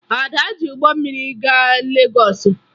Ada ji ụgbọ mmiri gaa Legọọsụ